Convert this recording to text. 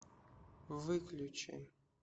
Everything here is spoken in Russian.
выключи